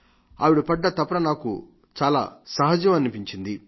ఆవిడ పడ్డ తపన నాకు చాలా స్వాభావికంగా కనిపించింది